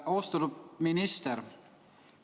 Austatud minister!